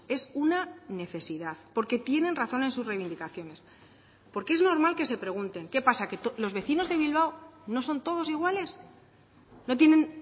es una necesidad porque tienen razón en sus reivindicaciones porque es normal que se pregunten qué pasa que los vecinos de bilbao no son todos iguales no tienen